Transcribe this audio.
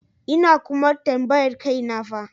Ina kuma tambayar kaina fa.